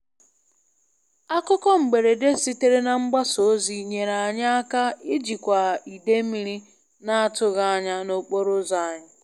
Akụkọ mberede sitere na mgbasa ozi nyere anyị aka ijikwa ide mmiri na-atụghị anya n'okporo ụzọ anyị.